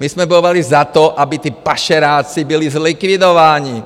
My jsme bojovali za to, aby ti pašeráci byli zlikvidováni.